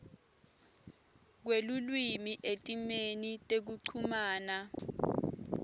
kwelulwimi etimeni tekuchumana